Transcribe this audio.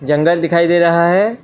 जंगल दिखाई दे रहा है।